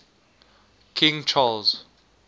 king charles